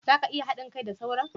za ka iya hadin kai da sauran?